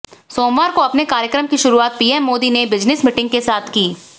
सोमवार को अपने कार्यक्रम की शुरुआत पीएम मोदी ने बिज़नेस मीटिंग के साथ की